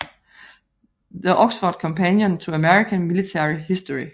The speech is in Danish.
The Oxford Companion to American Military History